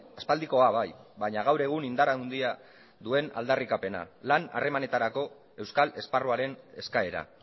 aspaldikoa bai baina gaur egun indar handia duen aldarrikapena lan harremanetarako euskal esparruaren eskaera